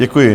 Děkuji.